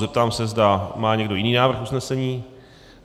Zeptám se, zda má někdo jiný návrh usnesení.